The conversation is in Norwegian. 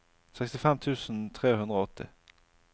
sekstifem tusen tre hundre og åtti